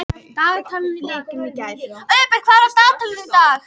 Auðbert, hvað er á dagatalinu í dag?